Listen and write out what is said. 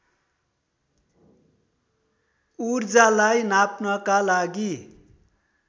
ऊर्जालाई नाप्नका लागि